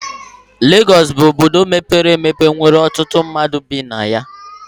Legọs bụ obodo mepere emepe nwere ọtụtụ mmadụ bi na ya.